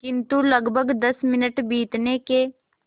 किंतु लगभग दस मिनट बीतने के